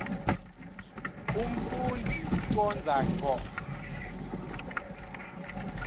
umfundzi ucondza ngco